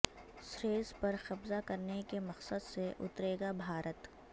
series پر قبضہ کرنے کے مقصد سے اترے گا بھارت